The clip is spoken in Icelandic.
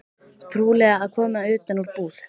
Trúlega að koma utan úr búð.